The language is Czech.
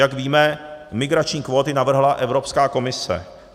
Jak víme, migrační kvóty navrhla Evropská komise.